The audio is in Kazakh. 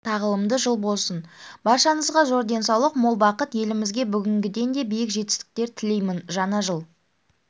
тағылымды жыл болсын баршаңызға зор денсаулық мол бақыт елімізге бүгінгіден де биік жетістіктер тілеймін жаңа жыл